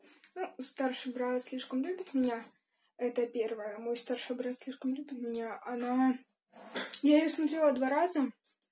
ну старший брат слишком любит меня это первое мой старший брат слишком любит меня она я её смотрела два раза